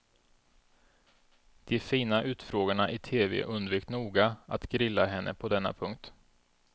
De fina utfrågarna i tv undvek noga att grilla henne på denna punkt.